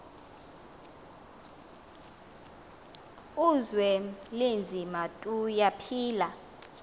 uzwelinzima tuya phila